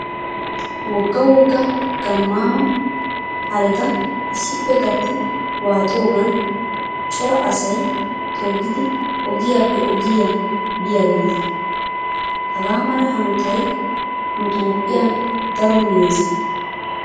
Wogga wogga gammaama hareta issippe gatti waaxoogan cora asayi toggidi ogiyaappe ogiyaa biyaageeta. Hagaa mala hanotayi nu Toophphiyan daro meeze.